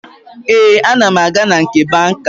Ee, ana m aga na nke banka